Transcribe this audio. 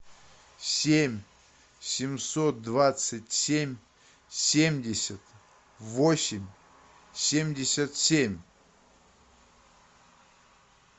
семь семьсот двадцать семь семьдесят восемь семьдесят семь